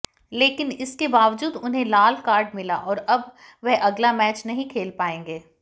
लेकिन इसके बावजूद उन्हें लाल कार्ड मिला और अब वह अगला मैच नहीं खेल पाएगा